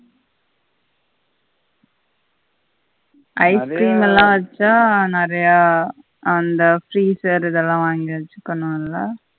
ice கு நல்லா rich ஆ நெறைய அந்த freezer இதல்லாம் வா வாங்கி வெச்சிக்கணும் இல்ல